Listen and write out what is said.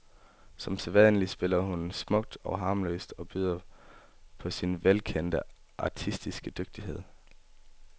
Som sædvanlig spiller hun smukt og harmløst og byder på sin velkendte artistiske dygtighed.